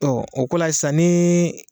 o ko la sisan ni